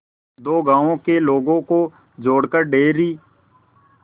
दो गांवों के लोगों को जोड़कर डेयरी